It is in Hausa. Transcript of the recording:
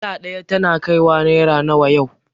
Dala ɗaya tana kaiwa naira nawa yau